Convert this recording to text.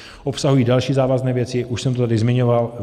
Obsahují další závazné věci, už jsem to tady zmiňoval.